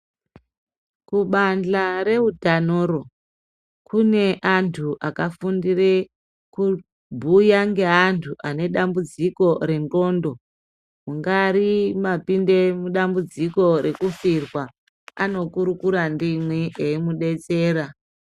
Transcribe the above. Kubadhla reutanoro kune antu akafundire kubhuya ngeantu ane dambudziko rengqondo. Mungari mwapinde mudambudziko rekufirwa, anokurikura ndimwi eimudetsera.